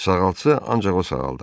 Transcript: sağalçı ancaq o sağaldar.